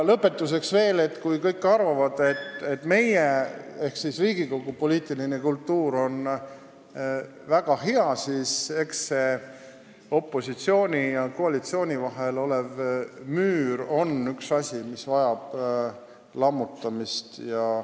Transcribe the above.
Lõpetuseks veel: kui kõik arvavad, et meie ehk Riigikogu poliitiline kultuur on väga hea, siis eks see opositsiooni ja koalitsiooni vahel olev müür ole üks asju, mis vajab lammutamist.